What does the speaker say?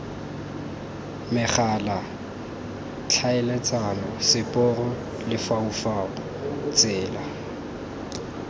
megala tlhaeletsano seporo lefaufau tsela